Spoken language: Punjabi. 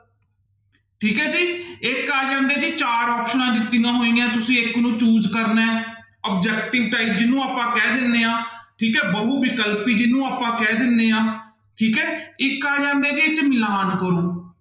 ਠੀਕ ਹੈ ਜੀ ਇੱਕ ਆ ਜਾਂਦੇ ਹੈ ਜੀ ਚਾਰ ਆਪਸਨਾਂ ਦਿੱਤੀਆਂ ਹੋਈਆਂ ਤੁਸੀਂ ਇੱਕ ਨੂੰ choose ਕਰਨਾ ਹੈ objective type ਜਿਹਨੂੰ ਆਪਾਂ ਕਹਿ ਦਿੰਦੇ ਹਾਂ ਠੀਕ ਹੈ ਬਹੁ ਵਿਕਲਪੀ ਜਿਹਨੂੰ ਆਪਾਂ ਕਹਿ ਦਿੰਦੇ ਹਾਂ, ਠੀਕ ਹੈ ਇੱਕ ਆ ਜਾਂਦੇ ਜੀ ਕਿ ਮਿਲਾਣ ਕਰੋ।